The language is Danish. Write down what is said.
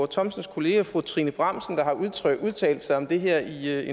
thomsens kollega fru trine bramsen der har udtalt udtalt sig om det her i